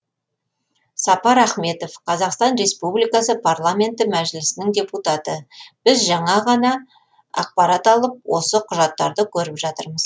сапар ахметов қазақстан республикасы парламенті мәжілісінің депутаты біз жаңа ғана ақпарат алып осы құжаттарды көріп жатырмыз